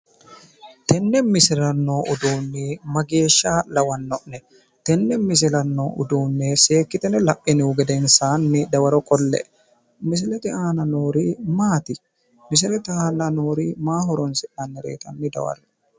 Tenne misilera noo uduunni mageeshsha lawanno'ne. Tenne misilera noo uduunne seekkitine la'inihu gedensaani dawaro qolle''e. Misilete aana noori maati? Misilete aana noori maaho horoonsi'nannireeti? Hanni dawarre''e.